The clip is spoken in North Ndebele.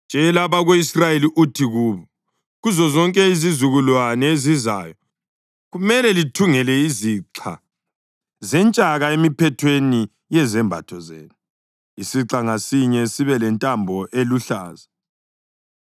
“Tshela abako-Israyeli uthi kubo: ‘Kuzozonke izizukulwane ezizayo, kumele lithungele izixha zentshaka emiphethweni yezembatho zenu, isixha ngasinye sibe lentambo eluhlaza.